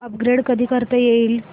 upgrade कधी करता येईल